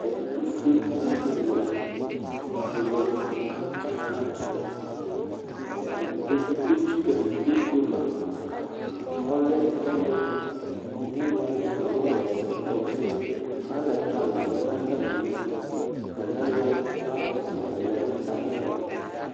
Ɛtʋfue nʋ ɛtʋwɛ alʋ atsaka nʋ alɛ, kʋ edigbo etsɩkǝ nʋ idu kpema Ɔlɛ ɔlʋ mʋ inu, nɩɩ ɔlʋɣa ɛtʋlʋlʋia sɛ nʋ atamili Atanɩ ayɔ flawɛsɩ lɛ nʋ atamɩ alɔ